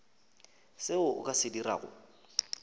seo o ka se dirago